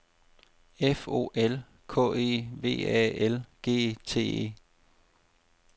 F O L K E V A L G T E